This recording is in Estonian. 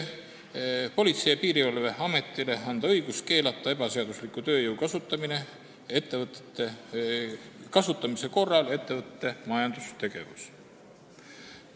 Politsei- ja Piirivalveametile soovitakse anda õigus keelata ebaseadusliku tööjõu kasutamise korral ettevõtte majandustegevus.